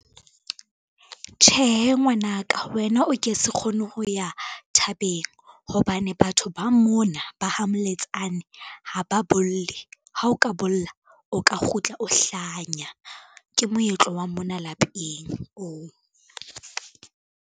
Tjhehe ngwanaka wena o ke se kgone ho ya thabeng, hobane batho ba mona ba ha Moletsane ha ba bolle. Ha o ka bolla o ka kgutla o hlanya, ke moetlo wa mona lapeng oo.